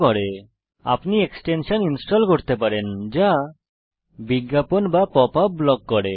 উদাহরণস্বরূপ আপনি extension install করতে পারেন যা বিজ্ঞাপন বা পপআপ ব্লক করে